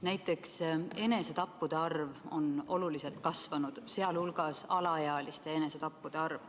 Näiteks enesetappude arv on oluliselt kasvanud, sh alaealiste enesetappude arv.